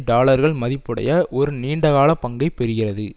டாலர்கள் மதிப்புடைய ஒரு நீண்டகால பங்கை பெறுகிறது